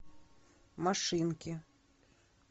машинки